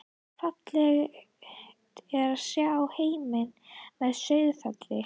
Fallegt er að sjá heim að Sauðafelli.